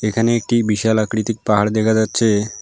এখানে একটি বিশাল আকৃতিক পাহাড় দেখা যাচ্ছে।